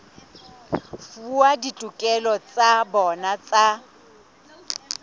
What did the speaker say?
fuwa ditokelo tsa bona tsa